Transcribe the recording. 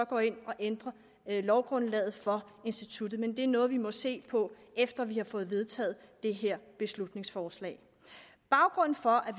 går ind og ændrer lovgrundlaget for instituttet men det er noget vi må se på efter vi har fået vedtaget det her beslutningsforslag baggrunden for